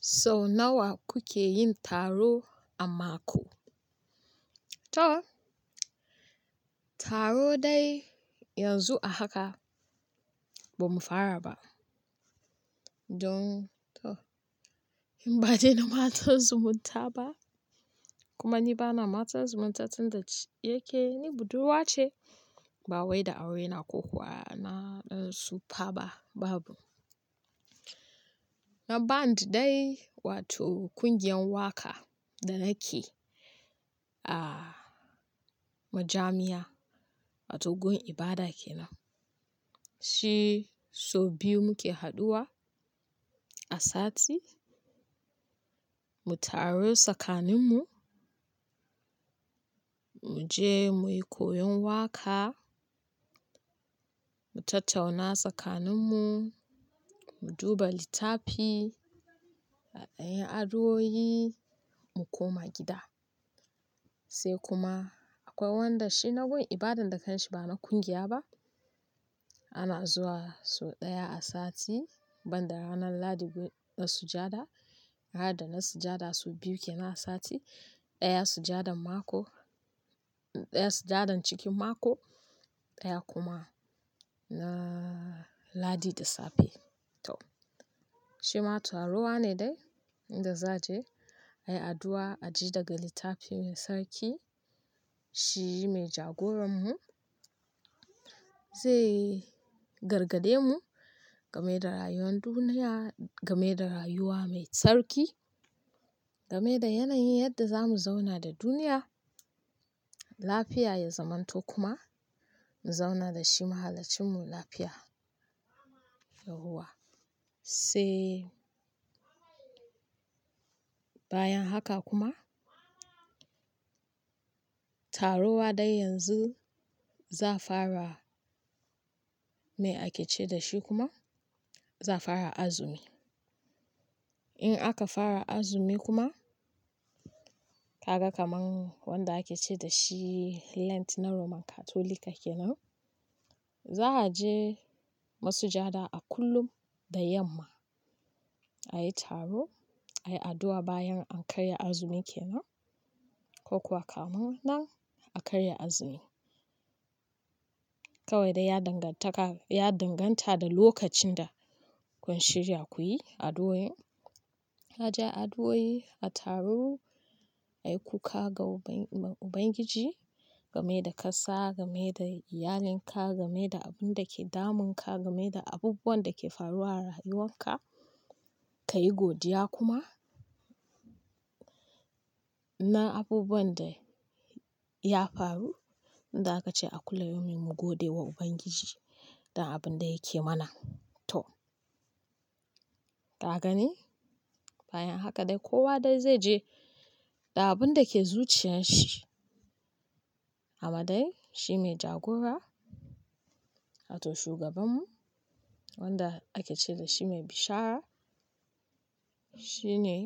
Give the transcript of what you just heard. Sau nawa kuke yin taro a mako? Taro dai yanzu a haka bamu fara ba. To, in ɓade na matan zumunta ba, kuma ni bana matan zumunta tunda yake ni budurwa ce. Ba wai da aure na kokuwa na tsufa ba, babu. Na band dai wato ƙungiyar waka da nake a majami'a wato gun ibada kenan. Shi sau biyu muke haɗuwa a sati, mu tarutsakaninmu, mu je muyi koyon waka, mu tattauna tsakaninmu, mu duba littafi, a ɗan yi addu'o'i, mu koma gida. Sai kuma akwai wanda shi na gun ibadan da kanshi ba na ƙungiya ba. Ana zuwa sau ɗaya a sati banda ranar Lahadi gun, na sujada. Rada na masujada su biyu kenan a sati, ɗaya sujadan mako, ɗaya sujadan cikin mako, ɗaya kuma na Lahadi da safe. Shi ma taruwa ne dai inda za a je ayi addu'a, a ji daga littafi mai tsarki. Shi mai jagoranmu zai gargaɗe mu game da rayuwar duniya, game da rayuwa mai tsarki, game da yanayin yanda zamu zauna da duniya. Lafiya ya zamanto kuma mu zauna da shi mahalacinmu lafiya yauwa. Sai bayan haka kuma taruwa dai yanzu za a fara, me ake ce da shi kuma za fara azumi. In aka fara azumi kuma ka ga kaman wanda ake ce da shi lent na Roman Katolika kenan, za a je masujada a kullum da yamma ayi taro, ayi addu'a bayan an karya azumi kenan ko kuwa kamun nan a karya azumi. Kawai dai ya danganta da lokacin da kun shirya kuyi addu'o'in. Aje addu'o'i, a taru, a yi kuka ga Ubangiji game da ƙasa, game da iyalinka, game da abun da ke damunka, game da abubuwan da ke faruwa a rayuwanka, ka yi godiya kuma na abubuwan da ya faru. Inda aka ce a kulla yumin mu gode wa Ubangiji da abun da yake mana. Ka gane? Bayan haka dai kowa dai zai je da abun da ke zuciyan shii amma dai shi mai jagora wato shugabanmu wanda ake ce da shi mai bishara shine